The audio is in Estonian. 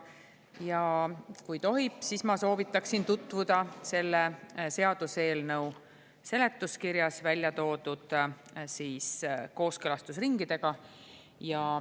Ja kui tohib, siis ma soovitan teil tutvuda selle seaduseelnõu seletuskirjas välja toodud kooskõlastusringidega.